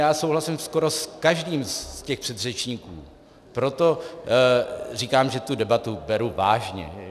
Já souhlasím skoro s každým z těch předřečníků, proto říkám, že tu debatu beru vážně.